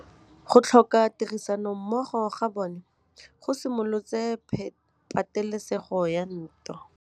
Go tlhoka tirsanommogo ga bone go simolotse patêlêsêgô ya ntwa.